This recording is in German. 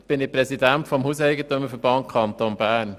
Ich bin Präsident des HEV des Kantons Bern.